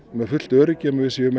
með fullt öryggi um að við séum